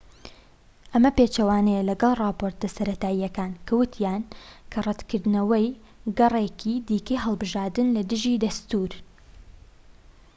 ئەمە پێچەوانەیە لەگەڵ ڕاپۆرتە سەرەتاییەکان کە ووتیان کە ڕەتکردنەوەی گەڕێکی دیکەی هەڵبژاردن لە دژی دەستوورە